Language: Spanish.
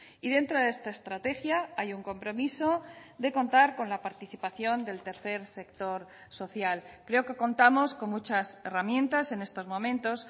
y dentro de esta estrategia hay un compromiso de contar con la participación del tercer sector social creo que contamos con muchas herramientas en estos momentos